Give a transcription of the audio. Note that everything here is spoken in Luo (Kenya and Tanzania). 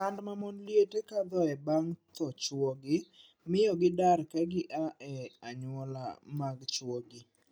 Sand ma mond liete kadhoe bang' thoo chwogi miyo gidar ka gi aa e anyuola mag chwogi.